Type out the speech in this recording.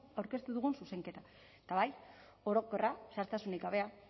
aurkeztu dugun zuzenketa da eta bai orokorra zehaztasunik gabea